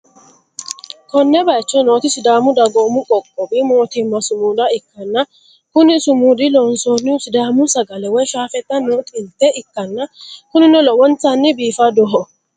konne bayicho nooti sidaamu dagoomu qoqqowi mootimma sumuda ikkanna, kuni sumudi loonsoonnihu sidaamu sagale woy shaafeeta no xilte ikkanna, kunino lowontanni biifadoho.